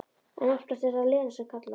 En oftast er það Lena sem kallar.